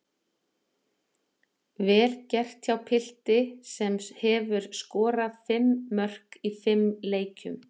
Vel gert hjá pilti sem hefur skorað fimm mörk í fimm leikjum.